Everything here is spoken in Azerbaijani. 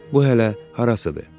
Bu hələ harasıdır?